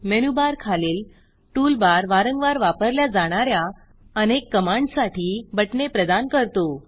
menu bar खालील toolbar वारंवार वापरल्या जाणा या अनेक कमांडससाठी बटणे प्रदान करतो